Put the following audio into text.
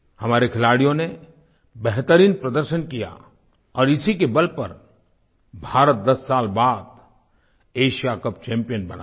हमारे खिलाड़ियों ने बेहतरीन प्रदर्शन किया और इसी के बल पर भारत दस साल बाद एशिया कप चैम्पियन बना है